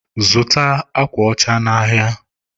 zụta akwa ọcha n'ahịa!